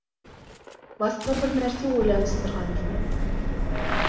басқа бір нәрсе ойланыстырған жөн